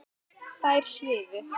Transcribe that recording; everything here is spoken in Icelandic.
Þær svifu.